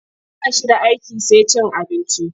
Ba shi da aiki sai cin abinci.